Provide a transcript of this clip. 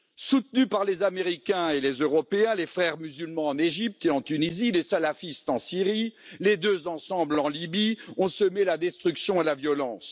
Soutenus par les Américains et les Européens, les Frères musulmans en Égypte et en Tunisie, les salafistes en Syrie, les deux, ensemble, en Libye ont semé la destruction et la violence.